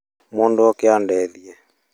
Mũndũ oke andeithie